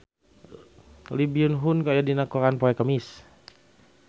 Lee Byung Hun aya dina koran poe Kemis